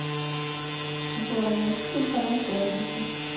джой найти телеканал пятница